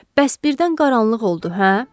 Bəs birdən qaranlıq oldu, hə?